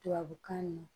Tubabukan na